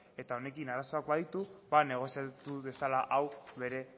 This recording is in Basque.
eta honekin arazoak baditu ba negoziatu dezala hau bere